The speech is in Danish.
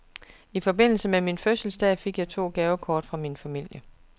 I forbindelse med min fødselsdag fik jeg to gavekort fra min familie.